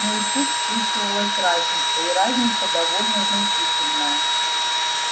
но и тут чувствовалась разница и разница довольно значительная